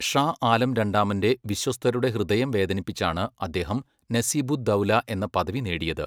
ഷാ ആലം രണ്ടാമൻ്റെ വിശ്വസ്തരുടെ ഹൃദയം വേദനിപ്പിച്ചാണ് അദ്ദേഹം നസീബുദ്ദൗല എന്ന പദവി നേടിയത്.